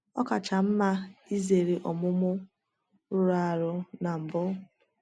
Ọ kacha mma izere omume rụrụ arụ na mbụ.